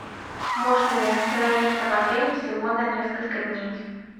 можно ли остановиться в отеле всего на несколько дней